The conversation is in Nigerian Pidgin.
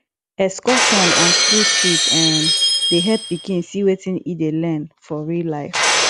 excursion and school trip um dey help pikin see wetin e dey learn for real life